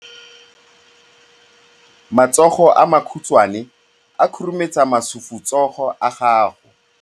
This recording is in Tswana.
Matsogo a makhutshwane a khurumetsa masufutsogo a gago.